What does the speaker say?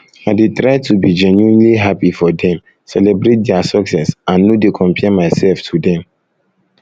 i dey try to be genuinely happy for dem celebrate dia success and no dey compare myself to dem